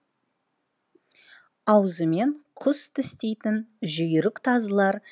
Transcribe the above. аузымен құс тістейтін жүйрік тазылар